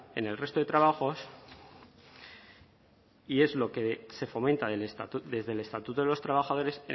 en el resto de trabajos y es lo que se fomenta desde el estatuto de los trabajadores